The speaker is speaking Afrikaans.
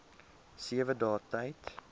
sewe dae tyd